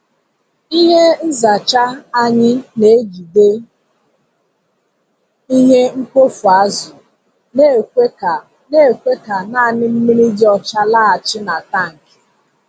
Ihe nzacha anyị na-ejide ihe mkpofu azụ na-ekwe ka na-ekwe ka naanị mmiri dị ọcha laghachi na tankị.